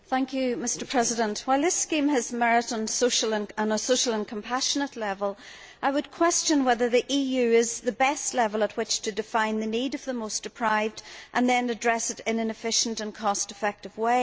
Mr President, while this scheme has merit on a social and compassionate level, I would question whether the EU is the best level at which to define the needs of the most deprived and then address them in an efficient and cost effective way.